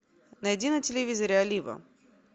найди на телевизоре олива